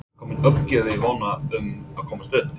Er komin uppgjöf í vonina um að komast upp?